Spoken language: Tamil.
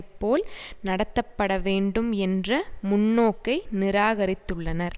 போல் நடத்தப்படவேண்டும் என்ற முன்னோக்கை நிராகரித்துள்ளனர்